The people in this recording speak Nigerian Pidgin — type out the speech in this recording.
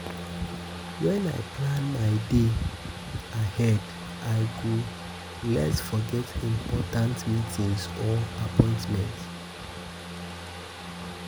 When I plan my day day ahead, I go less forget important meetings or appointments.